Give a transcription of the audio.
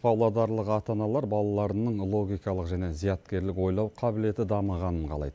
павлодарлық ата аналар балаларының логикалық және зияткерлік ойлау қабілеті дамығанын қалайды